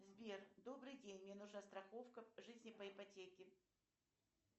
сбер добрый день мне нужна страховка жизни по ипотеке